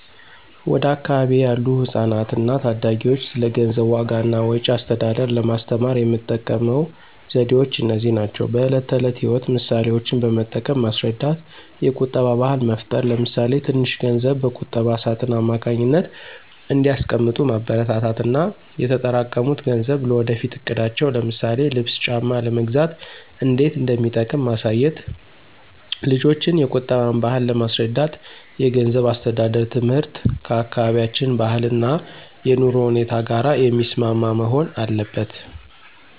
ወደ አካባቢዬ ያሉ ህጻናትና ታዳጊዎች ስለ ገንዘብ ዋጋ እና ወጪ አስተዳደር ለማስተማር የምጠቀመው ዘዴዎች እነዚህ ናቸው፦ በዕለት ተዕለት ሕይወት ምሳሌዎችን በመጠቀም ማስረዳት የቁጠባ ባህል መፍጠር ለምሳሌ ትንሽ ገንዘብ በቁጠባ ሳጥን አማካኝነት እንዲያስቀምጡ ማበረታታት እና የተጠራቀሙት ገንዘብ ለወደፊት እቅዳቸው ለምሳሌ ልብስ ጫማ ለመግዛት እንዴት እንደሚጠቅም ማሳየት። ልጆችን የቁጠባን ባህል ለማስረዳት የገንዘብ አስተዳደር ትምህርት ከአካባቢያችን ባህልና የኑሮ ሁኔታ ጋር የሚስማማ መሆን አለበት።